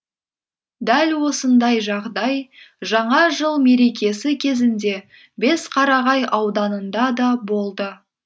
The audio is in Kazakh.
дәл осындай жағдай жаңа жыл мерекесі кезінде бесқарағай ауданында да болды